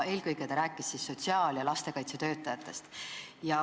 Eelkõige rääkis ta sotsiaal- ja lastekaitsetöötajatest.